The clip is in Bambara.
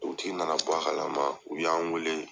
U tigi nana bɔ a kala ma u y'an wele.